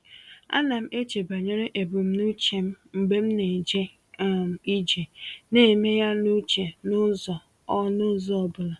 A na m eche banyere ebumnuche m mgbe m na-eje um ije, na-eme ya n’uche n’ụzọ ọ n’ụzọ ọ bụla.